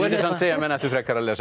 menn ættu frekar að lesa